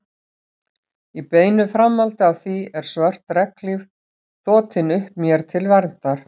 Í beinu framhaldi af því er svört regnhlíf þotin upp mér til verndar.